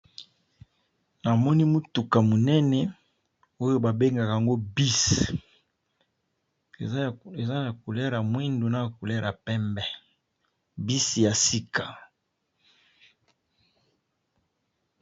Namoni mutuka monene oyo ba bengaka bus eza ya couleur ya moyindo na pembe, bus yasika.